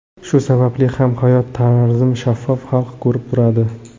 Shu sababli ham hayot tarzim shaffof, xalq ko‘rib turadi.